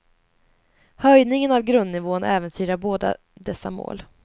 Höjningen av grundnivån äventyrar både dessa mål.